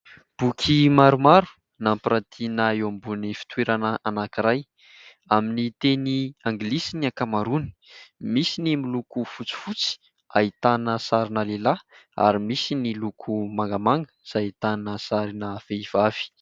Boky maromaro nampirantiana eo ambonin'ny fitoerana anankiray amin'ny teny anglisy ny ankamaroany misy ny miloko fotsy fotsy ahitana sarina lehilahy ary misy ny loko mangamanga izay ahitana vehivavy